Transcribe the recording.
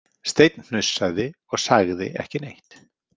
Steinn hnussaði og sagði ekki neitt.